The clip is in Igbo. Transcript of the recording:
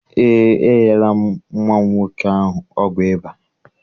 Eé, enyela m nwa m nwoke ahụ ọgwụ ịba.